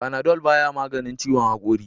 Panadol ba ya maganin ciwon hakori.